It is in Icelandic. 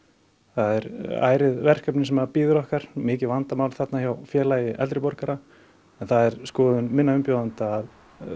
það er ærið verkefni sem að bíður okkar mikið vandamál þarna hjá Félagi eldri borgara en það er skoðun minna umbjóðenda að